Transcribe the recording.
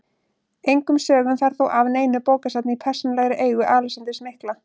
Engum sögum fer þó af neinu bókasafni í persónulegri eigu Alexanders mikla.